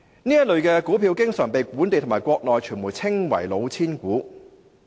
這類股票經常被本地和國內傳媒稱為"老千股"。